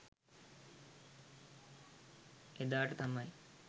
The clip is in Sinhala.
එදාට තමයි